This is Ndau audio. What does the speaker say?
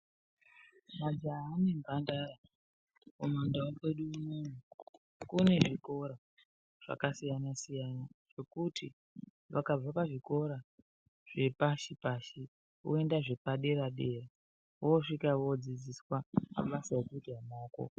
Majaha nembandara kumundawo kwedu unono kune zvikora zvakasiyana siyana zvokuti vakabva pazvikora zvapashi pashi oenda zvepadera dera osvika odzidziswa mabasa ekudyara aako.